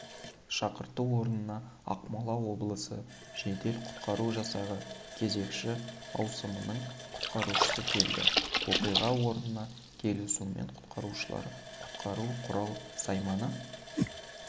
шақырту орнына ақмола облысы жедел-құтқару жасағы кезекші ауысымның құтқарушысы келді оқиға орнына келісімен құтқарушылар құтқару құрал-сайманы